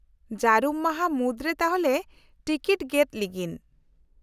-ᱡᱟᱹᱨᱩᱢ ᱢᱟᱦᱟ ᱢᱩᱫᱨᱮ ᱛᱟᱦᱞᱮ ᱴᱤᱠᱤᱴ ᱜᱮᱫ ᱞᱤᱜᱤᱧ ?